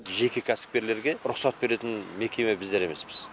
жеке кәсіпкерлерге рұқсат беретін мекеме біздер емеспіз